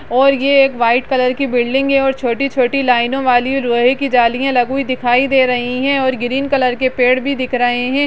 और ये एक व्हाइट कलर की बिल्डिंग है और छोटी-छोटी लाइनों वाली लोहे की जलियाँ लगी हुई दिखाई दे रही है और ग्रीन कलर के पेड़ भी दिख रहे हैं।